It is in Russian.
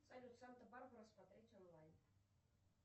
салют санта барбара смотреть онлайн